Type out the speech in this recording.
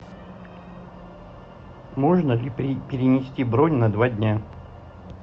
можно ли перенести бронь на два дня